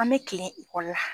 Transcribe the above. An bi kilen ekɔli la